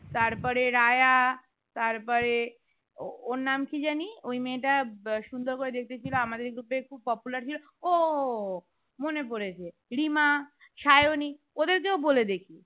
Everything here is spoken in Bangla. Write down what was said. তার পরে রায়া তার পরে ওর নাম কি জানি ঐ মেয়েটা সুন্দর করে দেখতে ছিল আমাদের group এর খুব popular ছিল ও ও মনে পড়েছে রিমা সায়নী ওদের কেউ বলে দেখি